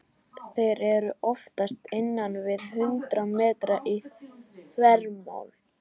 Þeir eru oftast innan við hundrað metrar í þvermál.